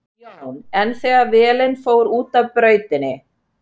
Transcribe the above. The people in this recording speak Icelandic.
Jón: En þegar vélin fór út af brautinni?